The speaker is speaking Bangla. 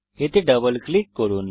এতে ডাবল ক্লিক করুন